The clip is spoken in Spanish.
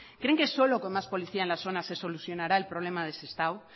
creen que solo con más policía en la zona se solucionará el problema de sestao